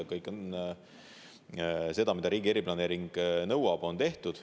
Kõik see, mida riigi eriplaneering nõuab, on tehtud.